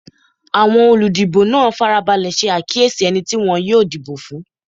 Awọn oludibo naa farabalẹ ṣe akiyesi ẹni ti wọn yoo dibo fun